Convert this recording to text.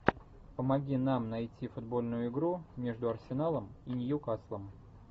помоги нам найти футбольную игру между арсеналом и ньюкаслом